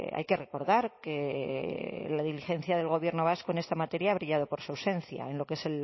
hay que recordar que la diligencia del gobierno vasco en esta materia ha brillado por su ausencia en lo que es